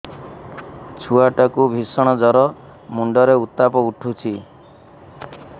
ଛୁଆ ଟା କୁ ଭିଷଣ ଜର ମୁଣ୍ଡ ରେ ଉତ୍ତାପ ଉଠୁଛି